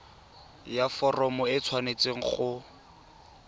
ya foromo e tshwanetse go